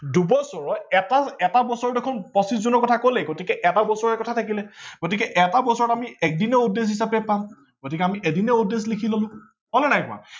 দুবছৰত এটা বছৰ দেখোন পচিছ জনৰ কথা কলেই গতিকে এটা বছৰৰ কথাই থাকিলে গতিকে এটা বছৰত আমি এদিনেই odd days হিচাপে পাম গতিকে এদিনেই odd days লিখি ললো হল নে নাই হোৱা